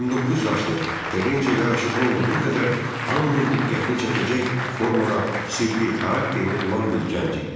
29 yaşlı Terecini yaraşıqlı olduğu qədər hamının diqqətini çəkəcək formada sirli xarakteri olan bir gənc idi.